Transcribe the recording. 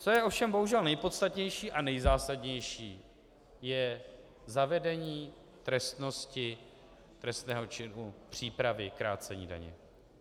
Co je ovšem bohužel nejpodstatnější a nejzásadnější, je zavedení trestnosti trestného činu přípravy krácení daně.